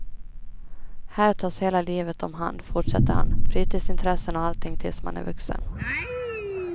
Här tas hela livet omhand, fortsätter han, fritidsintressen och allting tills man är vuxen.